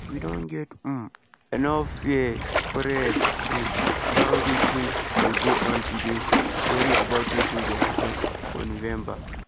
"we don get um enough fear spread um around wetin dey go on today to worry about wetin gio happun for november” di official tok.